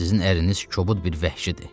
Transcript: Sizin əriniiz kobud bir vəhşidir.